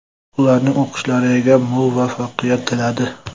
Ularning o‘qishlariga muvaffaqiyat tiladi.